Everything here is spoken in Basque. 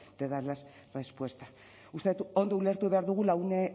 de darles respuesta uste dut ondo ulertu behar dugula une